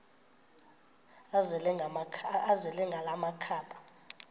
azele ngala makhaba